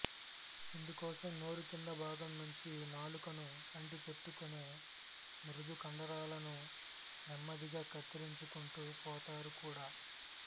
ఇందుకోసం నోరు కింది భాగం నుంచి నాలుకను అంటి పెట్టుకునే మృదు కండరాలను నెమ్మదిగా కత్తిరించుకుంటూ పోతారు కూడా